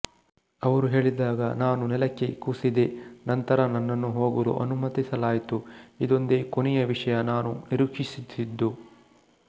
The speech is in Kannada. ಅವರು ಹೇಳಿದಾಗ ನಾನು ನೆಲಕ್ಕೆ ಕುಸಿದೆನಂತರ ನನ್ನನ್ನು ಹೋಗಲು ಅನುಮತಿಸಲಾಯಿತು ಇದೊಂದೇ ಕೊನೆಯ ವಿಷಯ ನಾನು ನಿರೀಕ್ಷಿಸಿದ್ದು